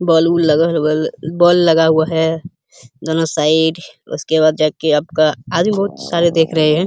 बल बुल बल लगा हुआ है दोनो साइड उसके बाद आपका आदमी बहुत सारे देख रहे हैं।